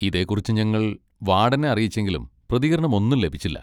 ഇതേക്കുറിച്ച് ഞങ്ങൾ വാഡനെ അറിയിച്ചെങ്കിലും പ്രതികരണമൊന്നും ലഭിച്ചില്ല.